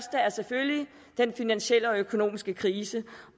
selvfølgelig den finansielle og økonomiske krise